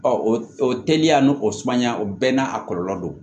o teliya n'o o sumaya o bɛɛ n'a a kɔlɔlɔ don